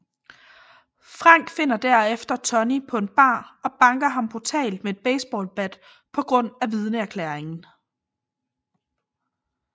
Frank finder derefter Tonny på en bar og banker ham brutalt med et baseballbat på grund af vidneerklæringen